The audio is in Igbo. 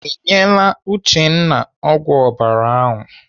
Ị nyere Uchenna ọgwụ ọbara ahụ?